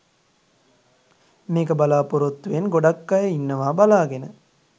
මේක බලාපොරොත්තු වෙන් ගොඩක් අය ඉන්නවා බලාගෙන